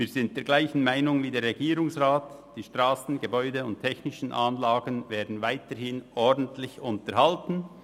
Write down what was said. Wir sind derselben Meinung wie der Regierungsrat: Strassen, Gebäude und technischen Anlagen werden weiterhin ordentlich unterhalten.